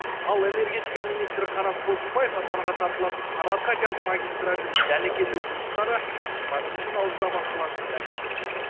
ал энергетика министрі қанат бозымбаев астанаға тартылатын сарыарқа газ магистралінің дәнекерлеу жұмыстары жиырма бірінші наурызда басталатынын мәлімдеді